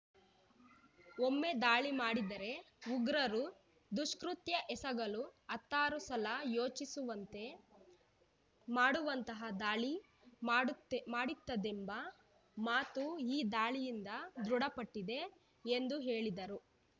ಒಮ್ಮೆ ದಾಳಿ ಮಾಡಿದರೆ ಉಗ್ರರು ದುಷ್ಕೃತ್ಯ ಎಸಗಲು ಹತ್ತಾರು ಸಲ ಯೋಚಿಸುವಂತೆ ಮಾಡುವಂತಹ ದಾಳಿ ಮಾಡುತ್ತೆ ಮಾಡುತ್ತದೆಂಬ ಮಾತು ಈ ದಾಳಿಯಿಂದ ದೃಢಪಟ್ಟಿದೆ ಎಂದು ಹೇಳಿದರು